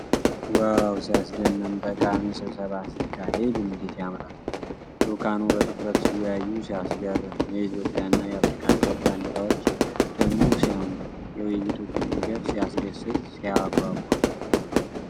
ዋው! ሲያስደምም! ጠቃሚ ስብሰባ ሲካሄድ እንዴት ያምራል! ልዑካኑ በትኩረት ሲወያዩ ሲያስገርም! የኢትዮጵያና የአፍሪካ ኅብረት ባንዲራዎች ደግሞ ሲያምሩ! የውይይቱ ቁምነገር ሲያስደስት! ሲያጓጓ!